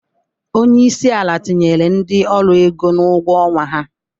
Onyeisi ala tinyere ndi ọru ego n'ugwo ọnwa ha.